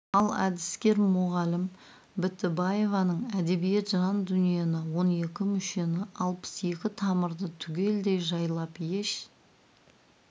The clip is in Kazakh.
ал әдіскер мұғалім бітібаеваның әдебиет жан дүниені он екі мүшені алпыс екі тамырды түгелдей жайлап еш